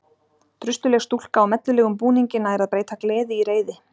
Drusluleg stúlka á mellulegum búningi nær að breyta gleði í reiði.